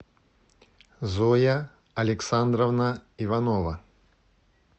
зоя александровна иванова